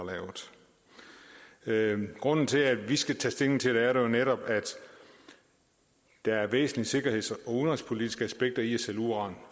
lavet grunden til at vi skal tage stilling til det er netop at der er væsentlige sikkerheds og udenrigspolitiske aspekter i at sælge uran